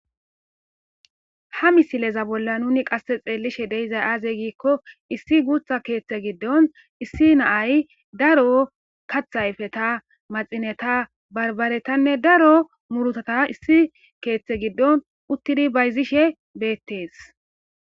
Ha misileza bolla nuni qasse xeellishe deizay aaze giikko issi guutha keeththe giddon issi naay daro kathayfeta maxineta barbaretanne daro murutata issi keeththe giddon uttidi bayzishe beettees.